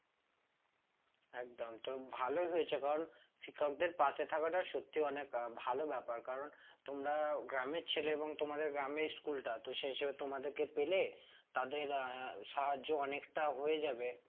একদম তো ভালোই হয়েছে কারণ শিক্ষকদের পাশে থাকাটা সত্যি অনেক আহ ভালো ব্যাপার কারণ তোমরা গ্রামের ছেলে এবং তোমাদের গ্রামে school টা তো সেই হিসাবে তোমাদেরকে পেলে তাদের আহ সাহায্য অনেকটা হয়ে যাবে